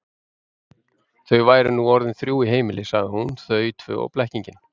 Þau væru nú orðin þrjú í heimili, sagði hún, þau tvö og blekkingin.